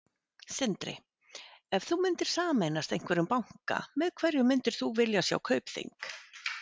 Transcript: Sindri: Ef þú myndir sameinast einhverjum banka, með hverjum myndir þú vilja sjá Kaupþing?